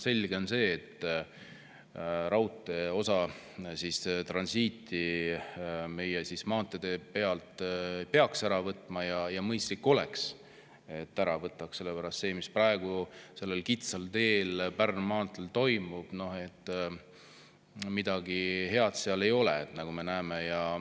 Selge on see, et raudtee osa võrra peaks transiiti meie maanteede pealt ära võtma ja mõistlik oleks ära võtta, sest see, mis praegu sellel kitsal teel, Pärnu maanteel, toimub, kuidagi hea ei ole, nagu me näeme.